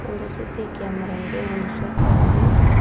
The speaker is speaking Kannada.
ಒಂದು ಸಿ_ಸಿ ಕ್ಯಾಮೆರ ಇದೆ ಒಂದು ಸೋಫಾ ಇದೆ.